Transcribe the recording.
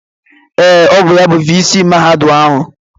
Ee, ọ bụ ya bụ viisii mahadum anyị